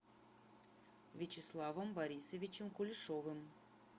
вячеславом борисовичем кулешовым